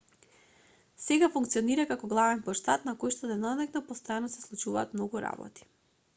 сега функционира како главен плоштад на којшто деноноќно постојано се случуваат многу работи